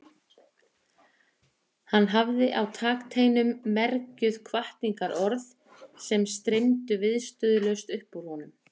Hann hafði á takteinum mergjuð hvatningarorð sem streymdu viðstöðulaust upp úr honum.